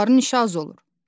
Onların işi az olur.